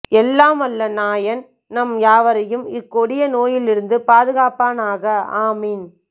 எல்லாம் வல்ல நாயன் நம் யாவரையும் இக்கொடிய நோயில் இருந்து பாதுகாப்பானாக ஆமீன்